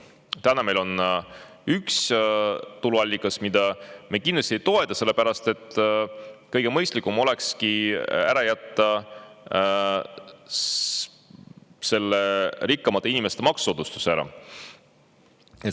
Täna meil on üks tuluallikas, mida me kindlasti ei toeta, sellepärast et kõige mõistlikum olekski ära jätta see rikkamate inimeste maksusoodustus.